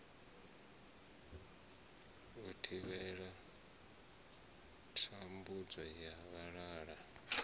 u thivhela thambudzo ya vhalala